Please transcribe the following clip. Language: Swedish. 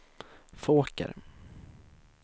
Fåker